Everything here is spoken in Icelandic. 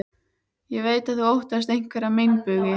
Ég veit að þú óttast einhverja meinbugi.